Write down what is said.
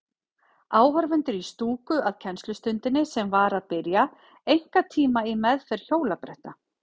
Áhorfendur í stúku að kennslustundinni sem var að byrja, einkatíma í meðferð hjólabretta.